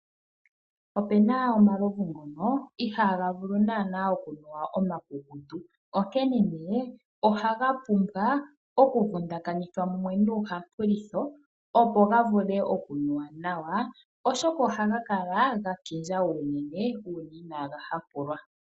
Ope na omalovu ngono ihaaga vulu okunuwa omakukutu, onkene ohaga pumbwa okuvundakanithwa mumwe nuuhampulitho opo ga nuwe, oshoka ohaga kala ga kindja unene uuna inaaga hampulwa.